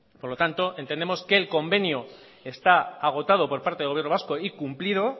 por lo tanto entendemos que el convenio está agotado por parte del gobierno vasco y cumplido